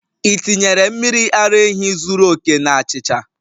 Ị tinyere mmiri ara ehi zuru oke na achịcha?